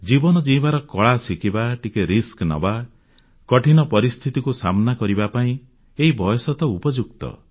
ଜୀବନ ଜୀଇଁବାର କଳା ଶିଖିବା ଟିକେ ରିସ୍କ ନେବା କଠିନ ପରିସ୍ଥିତିକୁ ସାମନା କରିବା ପାଇଁ ଏହି ବୟସ ହିଁ ଉପଯୁକ୍ତ